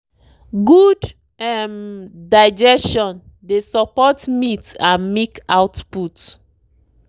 good um digestion dey support meat and milk output.